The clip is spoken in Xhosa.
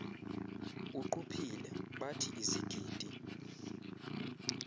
uquphile bathi izigidi